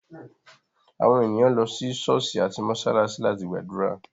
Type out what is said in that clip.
Àwọn ènìyàn lọ sí ṣọ̀ọ́sì àti mósálásí láti gbàdúrà.